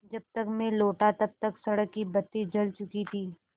जब तक मैं लौटा तब तक सड़क की बत्ती जल चुकी थी